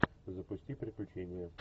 запусти приключения